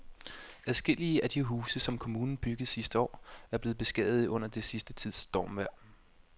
Adskillige af de huse, som kommunen byggede sidste år, er blevet beskadiget under den sidste tids stormvejr.